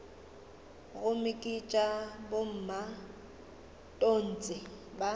gomme ke tša bomatontshe ba